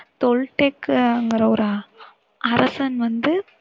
தொல்ட்டெக்ங்கிற ஒரு அரசன் வந்து,